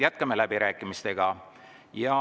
Jätkame läbirääkimisi.